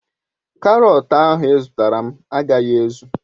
Karotu ahu izutaram agaghi ezu